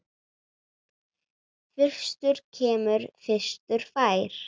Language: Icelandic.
Fyrstur kemur, fyrstur fær.